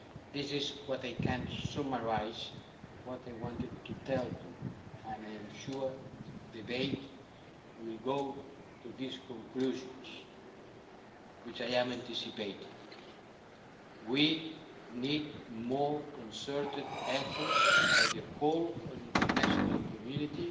This is what I can summarise what they wanted to tell to you and I'm sure that the debates will go to these conclusions which I am anticipating. We need more concerted efforts by the whole of the international community